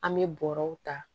An bɛ bɔrɛw ta